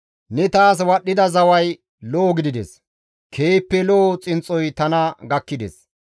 Ne taas wadhdhida zaway lo7o gidides; keehippe lo7o xinxxoy tana gakkides.